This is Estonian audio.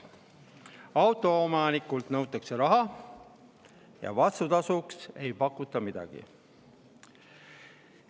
Autoomanikult nõutakse raha, aga vastutasuks ei pakuta midagi.